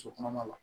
So kɔnɔma la